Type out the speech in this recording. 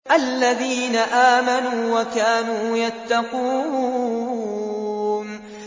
الَّذِينَ آمَنُوا وَكَانُوا يَتَّقُونَ